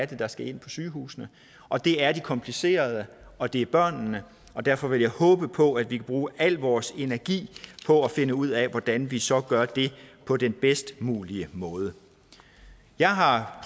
der skal ind på sygehusene og det er de komplicerede og det er børnene derfor vil jeg håbe på at vi kan bruge al vores energi på at finde ud af hvordan vi så gør det på den bedst mulige måde jeg har